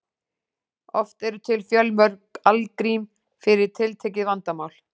Oft eru til fjölmörg algrím fyrir tiltekið vandamál.